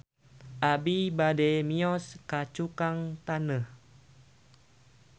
Abi bade mios ka Cukang Taneuh